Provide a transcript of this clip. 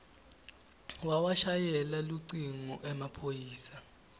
wawashayela lucingo emaphoyisa